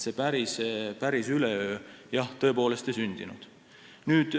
Päris üleöö see tõepoolest ei sündinud.